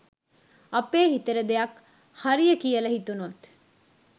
අපේ හිතට දෙයක් හරිය කියල හිතුනොත්